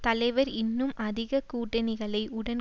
தலைவர் இன்னும் அதிக கூட்டணிகளை உடன்